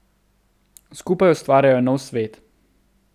Skupaj ustvarjajo nov svet.